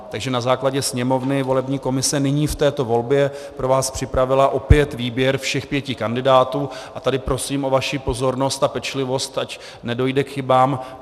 Takže na základě Sněmovny volební komise nyní v této volbě pro vás připravila opět výběr všech pěti kandidátů a tady prosím o vaši pozornost a pečlivost, ať nedojde k chybám.